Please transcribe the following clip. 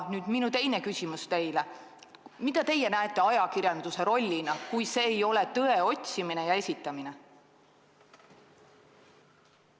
Nüüd minu teine küsimus teile: mida teie näete ajakirjanduse rollina, kui see ei ole tõe otsimine ja esitamine?